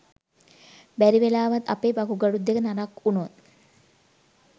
බැරිවෙලාවත් අපේ වකුගඩු දෙක නරක් වුණොත්